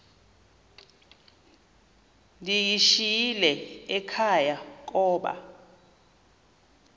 ndiyishiyile ekhaya koba